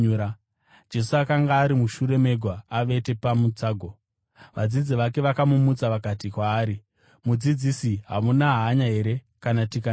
Jesu akanga ari mushure megwa, avete pamutsago. Vadzidzi vake vakamumutsa vakati kwaari, “Mudzidzisi, hamuna hanya here kana tikanyura?”